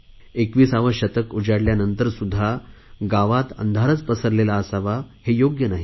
एकविसावे शतक उजाडल्यानंतरसुध्दा गावात अंधारच पसरलेला असावा हे योग्य नाही